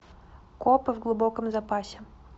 копы в глубоком запасе